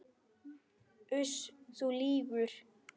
Uss, þú lýgur.